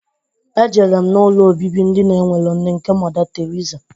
Ejere m na ụlọ obibi ndi na-enwerọ nne nke Mọda Teriza